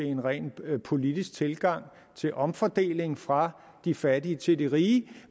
en ren politisk tilgang til omfordeling fra de fattige til de rige